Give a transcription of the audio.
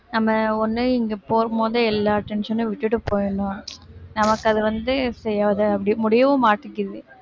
நம்ம ஒண்ணு இங்க போகும்போது எல்லா tension உம் விட்டுட்டு போயிடணும் நமக்கு அது வந்து அப்படி முடியவும் மாட்டேங்குது